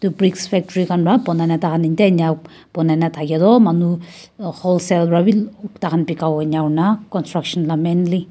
etu bricks factory khan pra bonai na tah khan etia ena bonai na thake tu manu whole sell pra bhi tah khan bika bo ena hona construction lah mainly --